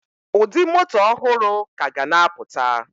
Ụdị moto ọhụrụ ka ga na apụta